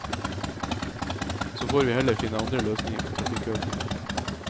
Så får vi heller finne andre løsninger på trafikkøkningen.